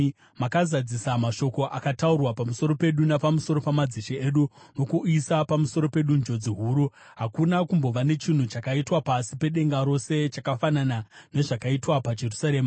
Makazadzisa mashoko akataurwa pamusoro pedu napamusoro pamadzishe edu nokuuyisa pamusoro pedu njodzi huru. Hakuna kumbova nechinhu chakaitwa pasi pedenga rose chakafanana nezvakaitwa paJerusarema.